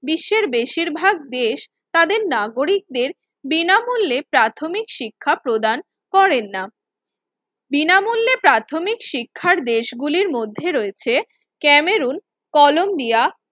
বিশ্বের বেশিরভাগ দেশ তাদের নাগরিকদের বিনামূল্যে প্রাথমিক শিক্ষা প্রদান করেননা। বিনামূল্যে প্রাথমিক শিক্ষার দেশগুলির মধ্যে রয়েছে কেমেরুন কলম্বিয়া